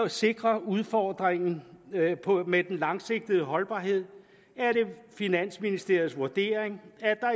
sikre udfordringen med den langsigtede holdbarhed er det finansministeriets vurdering